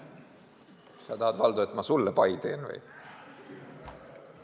Sa tahad, Valdo, et ma sulle pai teen või?